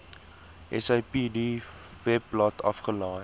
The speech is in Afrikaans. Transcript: sapd webblad afgelaai